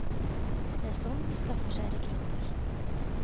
Det er sånn de skaffer seg rekrutter.